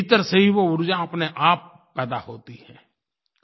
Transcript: भीतर से ही वो ऊर्जा अपनेआप पैदा होती है